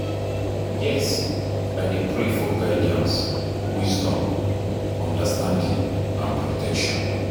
Yes, i dey pray for guidance, wisdom, understanding and protection.